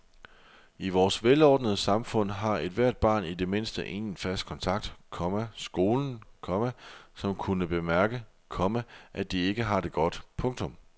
I vores velordnede samfund har ethvert barn i det mindste en fast kontakt, komma skolen, komma som kunne bemærke, komma at de ikke har det godt. punktum